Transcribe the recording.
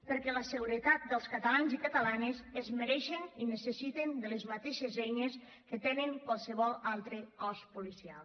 perquè la seguretat dels catalans i catalanes es mereix i necessita les mateixes eines que té qualsevol altre cos policial